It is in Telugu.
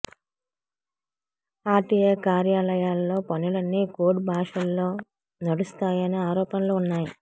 ఆర్టీఏ కార్యాలయాల్లో పనులన్నీ కోడ్ భాషల్లో నడుస్తాయనే ఆరోపణలు ఉన్నాయి